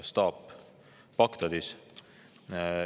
Staap on Bagdadis.